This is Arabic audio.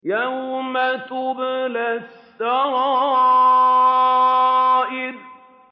يَوْمَ تُبْلَى السَّرَائِرُ